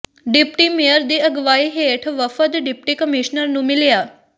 deputy mayor ਦੀ ਅਗਵਾਈ ਹੇਠ ਵਫ਼ਦ ਡਿਪਟੀ ਕਮਿਸ਼ਨਰ ਨੂੰ ਮਿਲਿਆ